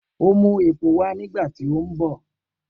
O mu epo wa nigbati o nbọ.